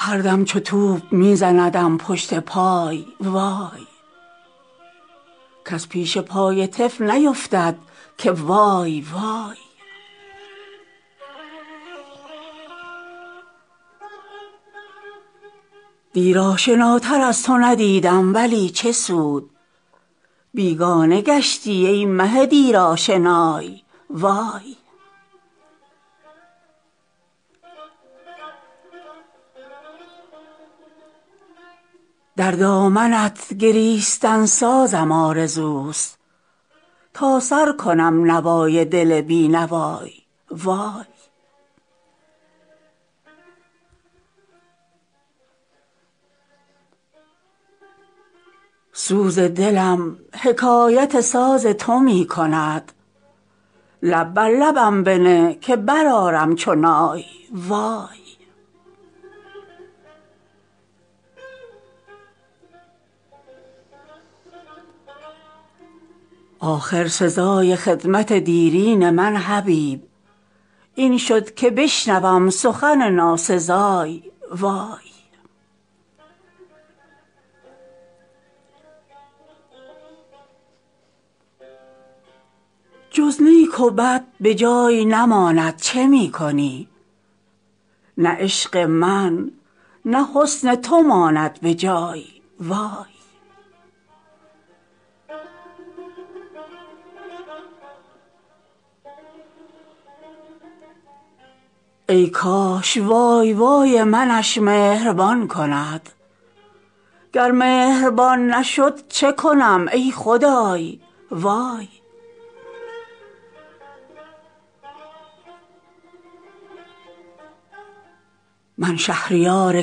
هردم چو توپ می زندم پشت پای وای کس پیش پای طفل نیفتد که وای وای در پای سرو دست نگیرند از کسی آنجا چه بی کسی که بیفتد ز پای وای دیر آشناتر از تو ندیدم ولی چه سود بیگانه گشتی ای مه دیرآشنای وای در دامنت گریستن سازم آرزوست تا سر کنم نوای دل بی نوای وای سوز دلم حکایت ساز تو می کند لب بر لبم بنه که برآرم چو نای وای از سوز هجر ناله من زار زار شد با شوق وصل گریه من های های وای من پروراندمت که تو با این بها شدی گم کردی ای متاع محبت بهای وای آخر سزای خدمت دیرین من حبیب این شد که بشنوم سخن ناسزای وای جز نیک و بد به جای نماند چه می کنی نه عشق من نه حسن تو ماند به جای وای ای کاش وای وای منش مهربان کند گر مهربان نشد چه کنم ای خدای وای من شهریار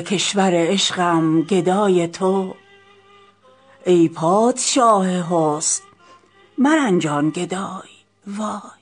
کشور عشقم گدای تو ای پادشاه حسن مرنجان گدای وای